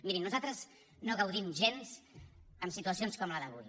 mirin nosaltres no gaudim gens amb situacions com la d’avui